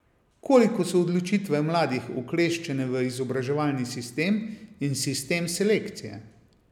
Koliko so odločitve mladih ukleščene v izobraževalni sistem in sistem selekcije?